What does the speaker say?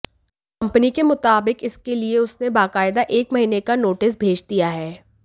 company के मुताबिक इसके लिए उसने बाकायदा एक महीने का नोटिस भेज दिया है